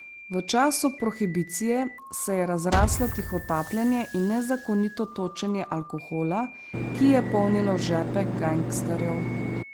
V času prohibicije se je razraslo tihotapljenje in nezakonito točenje alkohola, ki je polnilo žepe gangsterjev.